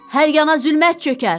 Hər yana zülmət çökər.